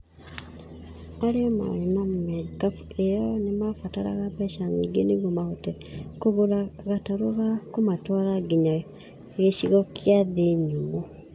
Arĩa maarĩ na marikabu ĩyo nĩ maabataraga mbeca nyingĩ nĩguo mahote kũgũra gatarũ ga kũmatwara nginya gĩcigo kĩa thĩ nyũmũ.